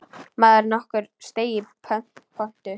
Maður nokkur steig í pontu.